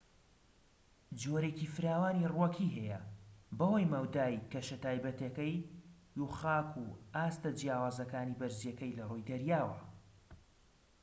جۆرێکی فراوانی ڕووەکی هەیە بەهۆی مەودای کەشە تایبەتیەکەی و خاک و ئاستە جیاوازەکانی بەرزیەکەی لە ڕووی دەریاوە